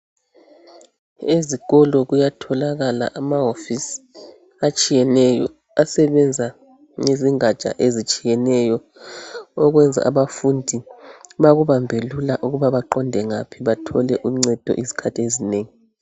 Ezikolo kuyatholakala amahofisi atshiyeneyo asebenza ngezingatsha ezitshiyeneyo okwenza abafundi bakubambe lula ukuba baqonde ngaphi bathole uncedo ngezikhathi ezinengi